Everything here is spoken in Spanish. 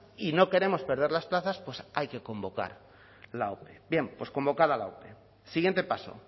y no queremos perder las plazas pues hay que convocar la ope bien pues convocada la ope siguiente paso